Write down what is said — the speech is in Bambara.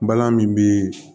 Balan min bi